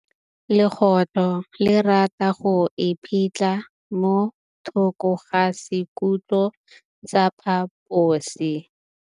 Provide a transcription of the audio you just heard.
Legôtlô le rata go iphitlha mo thokô ga sekhutlo sa phaposi.